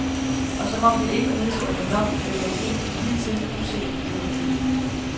Og som om det ikke var nedslående nok, løber vi ind i hidtil uset bureaukrati.